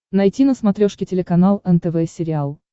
найти на смотрешке телеканал нтв сериал